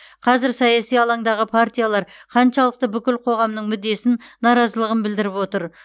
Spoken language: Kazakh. қазір саяси алаңдағы партиялар қаншалықты бүкіл қоғамның мүддесін наразылығын білдіріп отыр